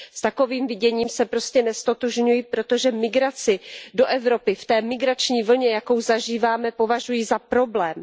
S takovým viděním se prostě neztotožňuji, protože migraci do Evropy v té migrační vlně, jakou zažíváme, považuji za problém.